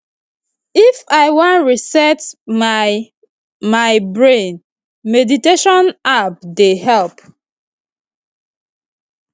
if i wan reset my my brain meditation app dey help